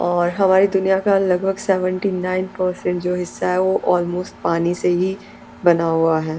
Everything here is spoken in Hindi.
और हमारी दुनिया का लगभग सेवेंटी नाइन परसेंट जो हिस्सा है वो अल्मोस्ट पानी से ही बना हुआ है।